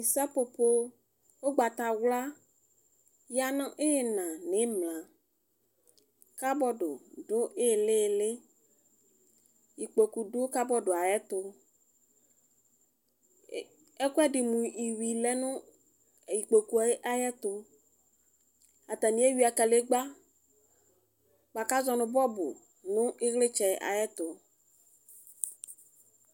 Sapopo ʋgdatawla yanʋ imla nʋ ina kabɔdʋ dʋ ilili ikpokʋ dʋ kabɔdʋ yɛ ayʋ ɛtʋ ɛkʋɛdi mʋ iwvi lɛnʋ ikpokʋ ayɛtʋ atani ewuia kadegba bʋakʋ azɔnʋ bɔbʋ nʋ ilitsɛ ayʋ ɛtʋ